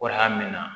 Waran min na